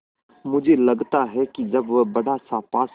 मुझे लगता है कि जब वह बड़ासा पासा